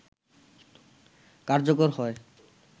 কার্যকর হয়